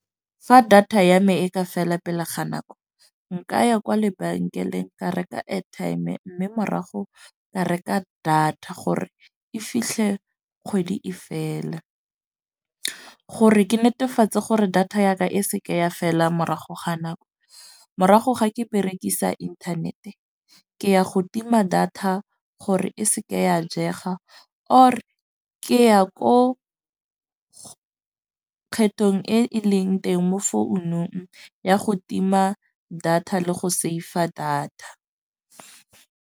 Fa data ya me e ka fela pele ga nako nka ya kwa lebenkeleng ka reka airtime. Mme morago ka reka data gore e fitlhe kgwedi e fela. Gore ke netefatse gore data ya ka e seke ya fela morago ga nako. Morago ga ke berekisa internet-e ke ya go tima data, gore e seke ya jega or ke ya ko kgethong e e leng teng mo founung ya go tima data le go save-a data.